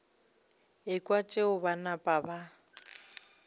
ekwa tšeo ba napa ba